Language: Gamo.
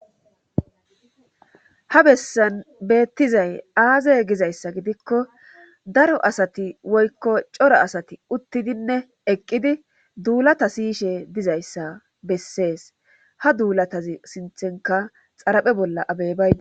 ha bessan beettizay aaze gizayssa gidikko daro asati woykko coro asati uttidinne eqqidi duulata siyishe dizayssa bessees ha duulatazi sinthenka xaraphe bolla abeybaydi